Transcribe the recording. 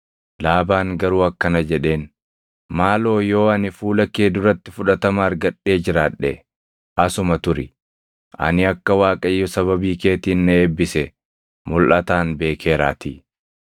Laabaan garuu akkana jedheen; “Maaloo yoo ani fuula kee duratti fudhatama argadhee jiraadhe asuma turi; ani akka Waaqayyo sababii keetiin na eebbise mulʼataan beekeeraatii.”